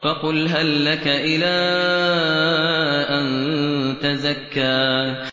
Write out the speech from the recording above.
فَقُلْ هَل لَّكَ إِلَىٰ أَن تَزَكَّىٰ